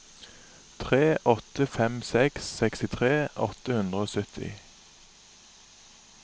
tre åtte fem seks sekstitre åtte hundre og sytti